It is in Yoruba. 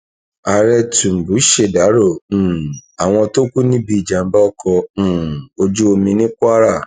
ààrẹ túngbù ṣèdàrọ um àwọn tó kù níbi ìjàmbá ọkọ um ojú omi ní kwara